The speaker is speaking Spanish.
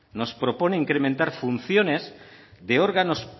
nos proponen incrementar funciones de órganos